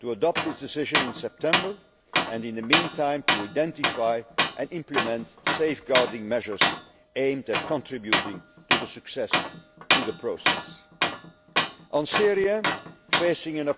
to adopt its decision in September and, in the meantime, to identify and implement safeguarding measures aimed at contributing to the success of the process. On Syria facing an